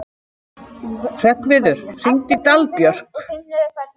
Hreggviður, hringdu í Dalbjörk.